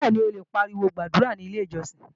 Bẹ́ẹ̀ni, o lè pariwo gbàdúrà ní Ilé-ìjọsìn